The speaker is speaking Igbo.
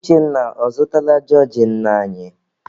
Uchenna, ọ zụtala jọọjị nne anyị?